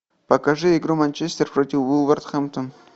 покажи игру манчестер против вулверхэмптон